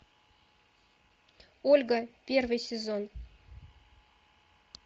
ольга первый сезон